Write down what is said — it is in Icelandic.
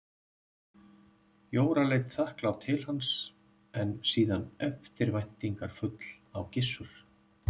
Jóra leit þakklát til hans en síðan eftirvæntingarfull á Gissur.